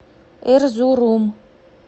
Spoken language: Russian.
эрзурум